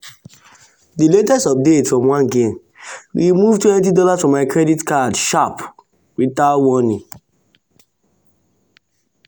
the latest update for one game remove $20 from my credit card sharp without warning.